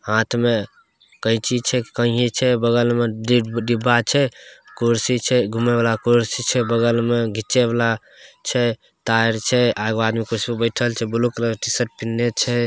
हाँथ में कैंची छै कंघी छै बगल में कुछ डिब्बा छै कुर्शी छै घूमे वाला कुर्शी छै बगल में घी वला छै तार छै ऐगो आदमी बगल में बइठल छै ब्लू कलर के टी-शर्ट पिनन्हे छै।